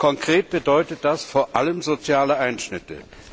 Konkret bedeutet das vor allem soziale Einschnitte.